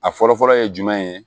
A fɔlɔ fɔlɔ ye jumɛn ye